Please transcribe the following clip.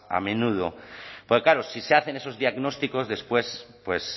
a menudo porque claro si se hacen esos diagnósticos después pues